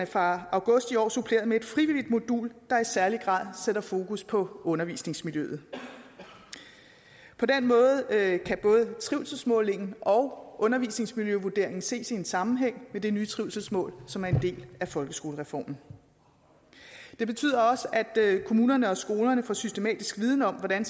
fra august i år suppleret med et frivilligt modul der i særlig grad sætter fokus på undervisningsmiljøet på den måde kan både trivselsmålingen og undervisningsmiljøvurderingen ses i en sammenhæng med det nye trivselsmål som er en del af folkeskolereformen det betyder også at kommunerne og skolerne får systematisk viden om hvordan